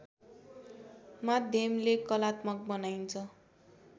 माध्यमले कलात्मक बनाइन्छ